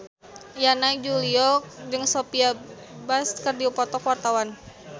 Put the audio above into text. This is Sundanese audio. Yana Julio jeung Sophia Bush keur dipoto ku wartawan